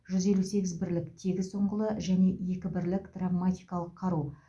жүз елу сегіз бірлік тегіс ұңғылы және екі бірлік травматикалық қару